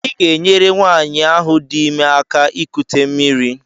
Ị ga-enyere nwanyị ahụ dị ime aka ikute mmiri.